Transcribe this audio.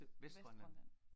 Vestgrønland